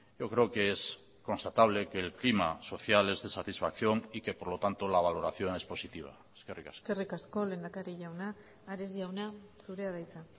yo creo que es constatable que el clima social es de satisfacción y que por lo tanto la valoración es positiva eskerrik asko eskerrik asko lehendakari jauna ares jauna zurea da hitza